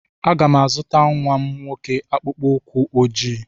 Aga m azụta nwa m nwoke akpụkpọ ụkwụ ojii.